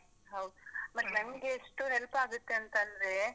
ಮತ್ತೆ ನಂಗೆಷ್ಟು help ಆಗುತ್ತೆಂತ್ತಂದ್ರೆ.